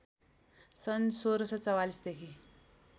सन् १६४४ देखि